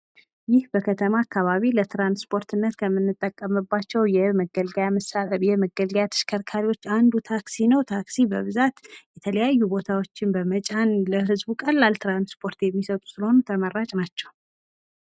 ይህ በከተማ አካባቢ ለትራንስፖርትነት ከምንጠቀምባቸው የመገልገያ ተሽከርካሪዎች አንዱ ታክሲ ነው። ታክሲ በብዛት የተለያዩ ቦታዎችን በመጫን ለህዝቡ ቀላል ትራንስፖርት የሚሰጡ ስለሆኑ ተመራጭ ናቸው።